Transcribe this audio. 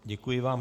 Děkuji vám.